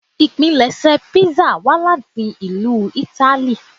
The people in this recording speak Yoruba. Ipinlẹṣẹ písà wá láti ìlú Ítálì